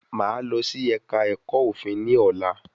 Máà lọ sí ẹ̀ka ẹ̀kọ́ òfin ní ọ̀lá